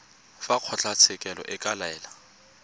fa kgotlatshekelo e ka laela